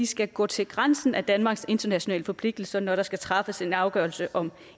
skal gå til grænsen af danmarks internationale forpligtelser når der skal træffes en afgørelse om